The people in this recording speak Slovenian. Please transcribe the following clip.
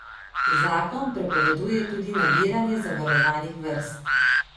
Zakon prepoveduje tudi nabiranje zavarovanih vrst.